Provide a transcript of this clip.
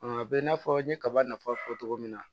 A bɛ i n'a fɔ n ye kaba nafa fɔ cogo min na